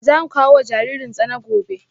Za mu kawo wa jaririn tsana gobe